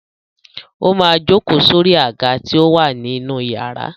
Ó máa jókòó sórí àga tí ó wà ní inú iyàrá.